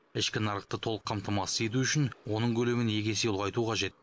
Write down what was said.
ішкі нарықты толық қамтамасыз ету үшін оның көлемін екі есе ұлғайту қажет